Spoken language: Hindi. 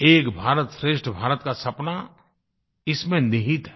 एक भारतश्रेष्ठ भारत का सपना इसमें निहित है